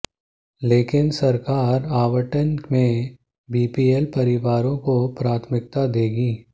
लेकिन सरकार आवंटन में बीपीएल परिवारों को प्राथमिकता देगी